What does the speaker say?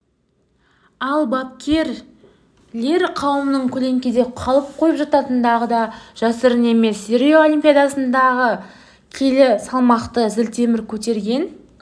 ал бапкерлер қауымының көлеңкеде қалып қойып жататындығы да жасырын емес рио олимпиадасында келі салмақта зілтемір көтерген